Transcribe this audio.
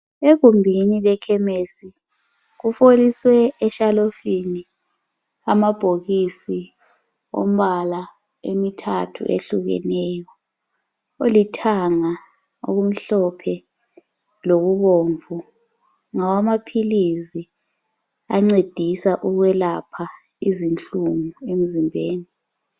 Egumbuni lekhemesi kufoliswe eshalofini amabhokisi ombala emithathu ehlukeneyo olithanga okumhlophe lokubomvu ngawamaphilizi ancedisa ukwelapha izinhlungu emzimbeni.